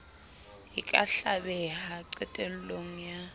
e ka hlabeha qetello ya